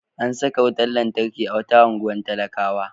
An saka wutar lantarki a wata unguwar talakawa.